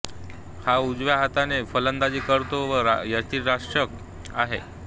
हा उजव्या हाताने फलंदाजी करतो व यष्टीरक्षक आहे